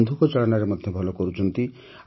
ବନ୍ଧୁକ ଚାଳନାରେ ମଧ୍ୟ ଭଲ କରୁଛନ୍ତି